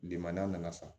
Bilima nana fa